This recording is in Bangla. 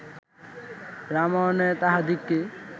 রামায়ণে তাহাদিগকে